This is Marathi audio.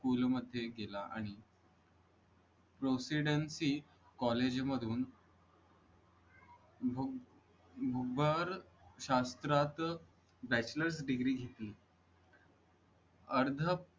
पूल मध्ये गेला आणि procedency कॉलेज मधून शास्त्रात bachelors degree घेतली अर्ध